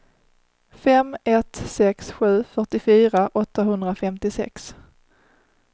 fem ett sex sju fyrtiofyra åttahundrafemtiosex